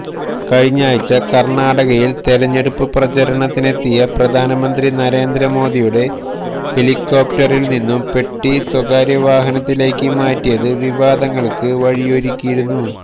കഴിഞ്ഞയാഴ്ച കര്ണാടകയില് തെരഞ്ഞെടുപ്പ് പ്രചരണത്തിനെത്തിയ പ്രധാനമന്ത്രി നരേന്ദ്രമോദിയുടെ ഹെലികോപ്റ്ററില് നിന്നും പെട്ടി സ്വകാര്യവാഹനത്തിലേക്ക് മാറ്റിയത് വിവാദങ്ങള്ക്ക് വഴിയൊരുക്കിയിരുന്നു